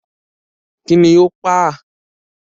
Kí ni ó pa á?